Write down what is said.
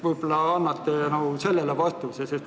Võib-olla annate sellele vastuse.